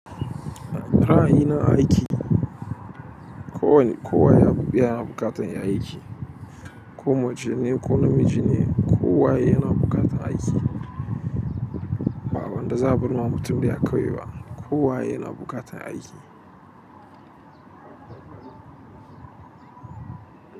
Ra'ayi na a aiki. Ko wane, kowa ya abu, ya na buƙatar yin aiki, ko mace ne, ko namiji ne, kowa ya na buƙatar aiki. Ba wanda za'a bar ma mutum ɗaya kawai ba, kowa ya na buƙatar aiki.